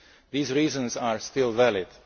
These reasons are still